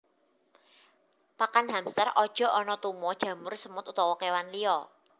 Pakan hamster aja ana tuma jamur semut utawa kewan liya